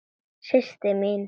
Systir mín.